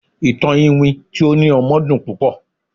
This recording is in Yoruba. ìtàn iwin ti o ni ọmọ dun pupo